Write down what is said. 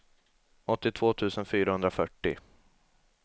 åttiotvå tusen fyrahundrafyrtio